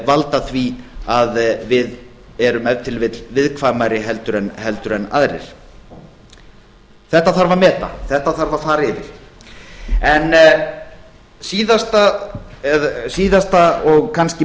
valda því að við erum ef til vill viðkvæmari heldur en aðrir þetta þarf að meta þetta þarf að fara yfir en síðasta og kannski